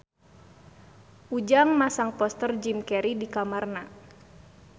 Ujang masang poster Jim Carey di kamarna